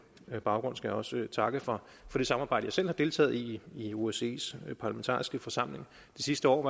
baggrund skal jeg også takke for det samarbejde jeg selv har deltaget i i osces parlamentariske forsamling det sidste år